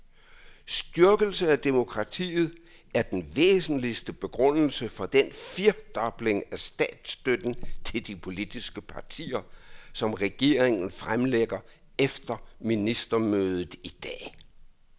Styrkelse af demokratiet er den væsentligste begrundelse for den firedobling af statsstøtten til de politiske partier, som regeringen fremlægger efter ministermødet i dag.